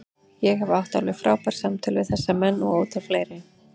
Ég hef átt alveg frábær samtöl við þessa menn og ótal fleiri.